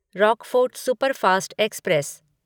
Rockfort superfast express